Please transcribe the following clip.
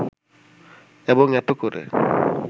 এবং এত করে